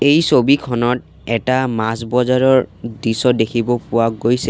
ই ছবিখনত এটা মাছ বজাৰৰ দৃশ্য দেখিব পোৱা গৈছে।